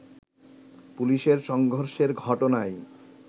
পুলিশের সংঘর্ষের ঘটনায়